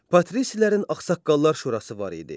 Patrisilərin Ağsaqqallar Şurası var idi.